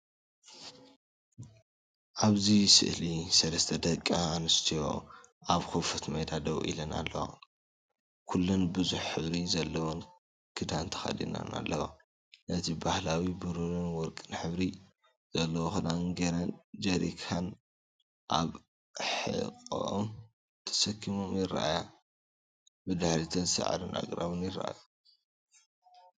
ኣብዚ ስእሊ ሰለስተ ደቂ ኣንስትዮ ኣብ ክፉት ሜዳ ደው ኢለን ኣለዋ። ኩሎን ብዙሕ ሕብሪ ዘለዎን ክዳን ተኸዲነን ኣለዎ። ነቲ ባህላዊ ብሩርን ወርቅን ሕብሪ ዘለዎ ገይረን ጀሪካን ኣብ ሕቖኦም ተሰኪሞም ይራኣያ። ብድሕሪተን ሳዕርን ኣግራብን ይራኣዩ።